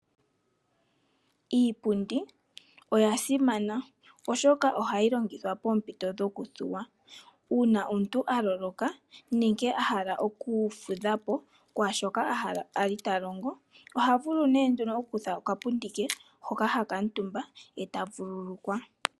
Iipundi oya simana oshoka ohayi longithwa poompito dhokuthuwa po, uuna omuntu a loloka nenge a hala oku fudha po omo lwa oshilonga shoka okwali ta longo shemu vulitha, oha kutha nee oshipundi opo a kuutumba a vululukwe po.